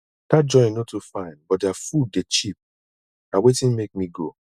dat joint no too fine but their food dey cheap na wetin make me go